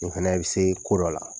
N fɛnɛ be se ko dɔ la.